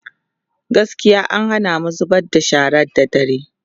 gaskiya an Hana mu zubar da shara da dare